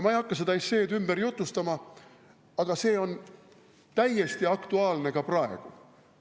Ma ei hakka seda esseed ümber jutustama, aga see on täiesti aktuaalne ka praegu.